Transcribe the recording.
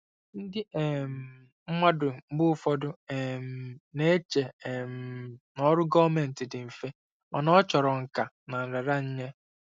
Ndị um mmadụ mgbe ụfọdụ um na-eche um na ọrụ gọọmentị dị mfe, mana ọ chọrọ nkà na nraranye.